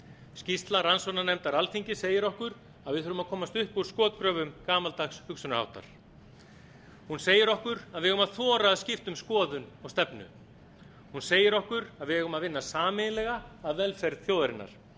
skýrsla rannsóknarnefndar alþingis segir okkur að við þurfum að komast upp úr skotgröfum gamaldags hugsunarháttar hún segir okkur að við eigum að þora að skipta um skoðun og stefnu hún segir að við eigum að vinna sameiginlega að velferð þjóðarinnar